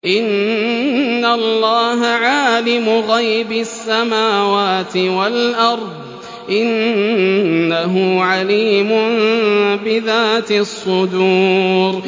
إِنَّ اللَّهَ عَالِمُ غَيْبِ السَّمَاوَاتِ وَالْأَرْضِ ۚ إِنَّهُ عَلِيمٌ بِذَاتِ الصُّدُورِ